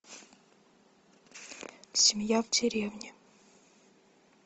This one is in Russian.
семья в деревне